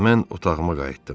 Mən otağıma qayıtdım.